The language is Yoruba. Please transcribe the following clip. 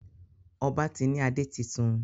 Ọba tí ní ade títún.